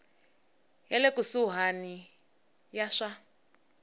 ya le kusuhani ya swa